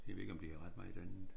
Jeg ved ikke om de havde ret meget andet